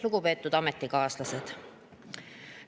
Lugupeetud ametikaaslased!